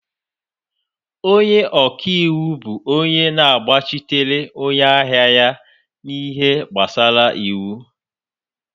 Onye ọka iwu bụ onye na-agbachitere onye ahịa ya n'ihe gbasara iwu